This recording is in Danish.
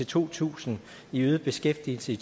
to tusind i øget beskæftigelse i